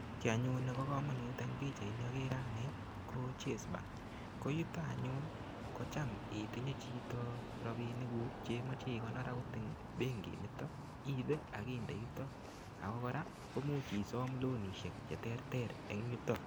Kiy anyun nebo komonut eng pichait ni akere ane, ko chase bank. Ko yutok anyun, kocham itinye chito rabinik kuk cheimache ikonor agot eng benkit niton, iibe akinde yutok. Ako kora, komuch isom lonishek che terter eng yutok.